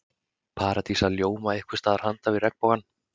Paradís að ljóma einhvers staðar handan við regnbogann.